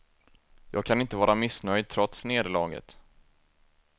Jag kan inte vara missnöjd, trots nederlaget.